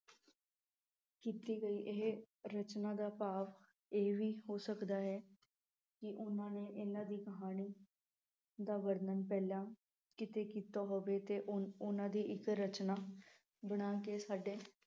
ਕੀਤੀ ਗਈ ਇਹ ਰਚਨਾ ਦਾ ਭਾਵ ਇਹ ਵੀ ਹੋ ਸਕਦਾ ਹੈ ਕਿ ਉਨ੍ਹਾਂ ਨੇ ਇਹਨਾਂ ਦੀ ਕਹਾਣੀ ਦਾ ਵਰਣਨ ਪਹਿਲਾਂ ਕਿਤੇ ਕੀਤਾ ਹੋਵੇ ਤੇ ਉਨ੍ਹਾਂ ਦੀ ਰਚਨਾ ਬਣਾ ਕੇ ਸਾਡੇ